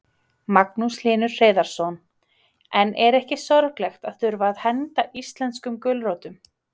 Magnús Hlynur Hreiðarsson: En er ekki sorglegt að þurfa að henda íslenskum gulrótum?